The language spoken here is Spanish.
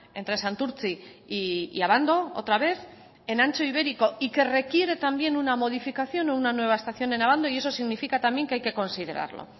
entre santurtzi y abando otra vez en ancho ibérico y que requiere también una modificación o una nueva estación en abando y eso significa también que hay que considerarlo